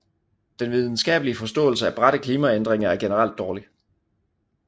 Den videnskabelige forståelse af bratte klimaændringer er generelt dårlig